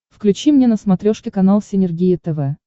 включи мне на смотрешке канал синергия тв